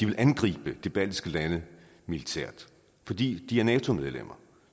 vil angribe de baltiske lande militært fordi de er nato medlemmer